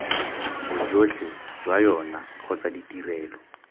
bojotlhe jwa yona kgotsa ditrelo